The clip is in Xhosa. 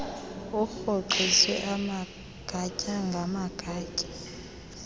urhoxiswe amagatya ngamagatya